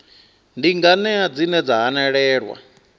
ndi nganea dzine dza hanelelwa